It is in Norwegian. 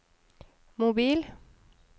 mobil